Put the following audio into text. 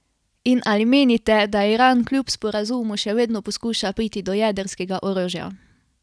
In ali menite, da Iran kljub sporazumu še vedno poskuša priti do jedrskega orožja?